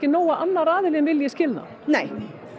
nóg að annar aðillinn vilji skilnað nei